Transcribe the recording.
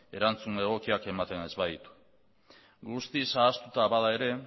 erantzun egokiak ematen ez baditu guztiz ahaztuta bada ere